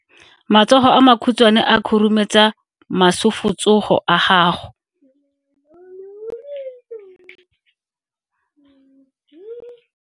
Matsogo a makhutshwane a khurumetsa masufutsogo a gago.